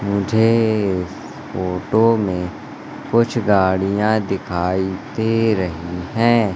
मुझे इस फोटो में कुछ गाड़ियां दिखाई दे रही हैं।